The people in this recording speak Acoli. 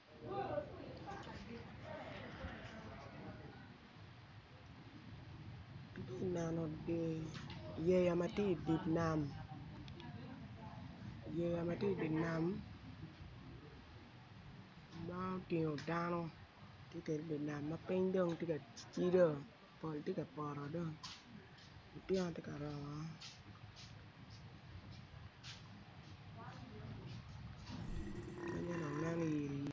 Ati neno yeya ma ti i di nam, yeya ma ti i di nam ma otingo dano ti kede i di nam ma piny dong ocido pol tye ka potoko dong otyeno tye ka romo pinye dong nen yiri yiri